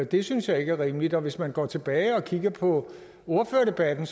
det synes jeg ikke er rimeligt og hvis man går tilbage og kigger på ordførerdebatten